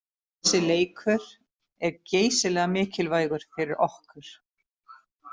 Þessi leikur er geysilega mikilvægur fyrir okkur.